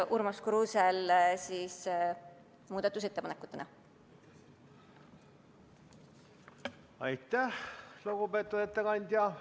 Aitäh, lugupeetud ettekandja!